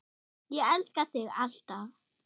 Ég elska þig. alltaf.